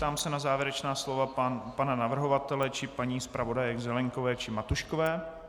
Ptám se na závěrečná slova pana navrhovatele či paní zpravodajek Zelienkové či Matuškové.